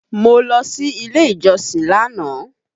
Mo lọ sí ilé ìjọsìn lánàá.